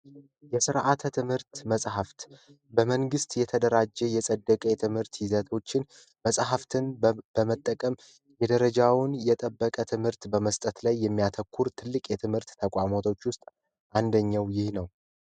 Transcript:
የስርዓተ ትምህርት መጽሐፍት በመንግስት የተደራጁና የፀደቀ የትምህርት ይዘቶችን መጽሐፍትን በመጠቀም ደረጃውን የጠበቀ ትምህርት በመስጠት ላይ የሚያተኩር ትልቅ የትምህርት ተቋማቶች ውስጥ አንደኛው ይህ ነው።